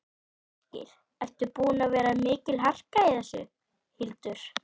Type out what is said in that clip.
Ásgeir: Er búin að vera mikil harka í þessu, Hildur?